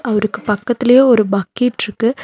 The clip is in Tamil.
அவருக்கு பக்கத்துலையே ஒரு பக்கெட்ருக்கு .